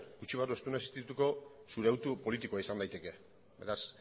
gutxienez ez dena existituko zure hautu politikoa izan daiteke beraz